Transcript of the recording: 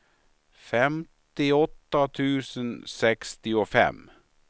femtioåtta tusen sextiofem